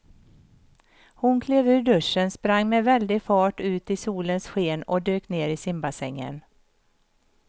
Hon klev ur duschen, sprang med väldig fart ut i solens sken och dök ner i simbassängen.